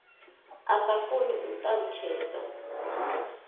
a sa koni u ṱalutshedza